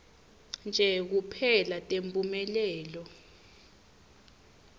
nje kuphela temphumelelo